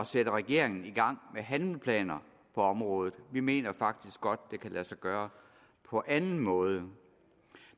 sætte regeringen i gang med handlingsplaner på området vi mener faktisk godt at det kan lade sig gøre på anden måde